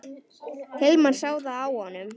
Hilmar sá það á honum.